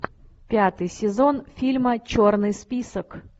пятый сезон фильма черный список